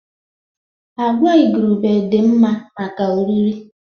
Agwa igurube dị mma maka oriri